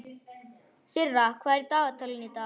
Sirra, hvað er í dagatalinu í dag?